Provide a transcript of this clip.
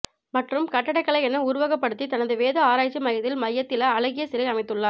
மற்றும் கட்டக்கலை என உருவகப்படுத்தி தனது வேத ஆராய்ச்சி மையத்தில் மையத்தில அழகிய சிலை அமைத்துள்ளார்